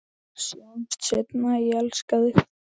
Sjáumst seinna, ég elska þig.